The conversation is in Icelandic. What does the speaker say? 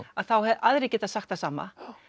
aðrir geta sagt það sama